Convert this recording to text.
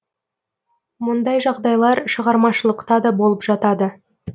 мұндай жағдайлар шығармашылықта да болып жатады